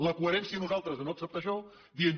la coherència nosaltres de no acceptar això dient